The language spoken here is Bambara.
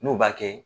N'u b'a kɛ